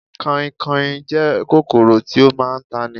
Kanhinkanhin jẹ́ kòkòrò tí ó máa ń tani